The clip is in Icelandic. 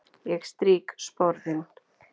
Ég strýk sporðinn.